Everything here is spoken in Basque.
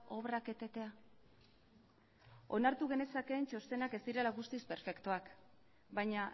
obrak etetea onartu genezakeen txostena ez direla guztiz perfektuak baina